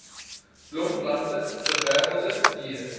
blomplante gewerwelde diere